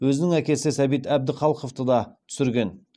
өзінің әкесі сәбит әбдіхалықовты да түсірген